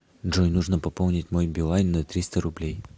джой нужно пополнить мой билайн на триста рублей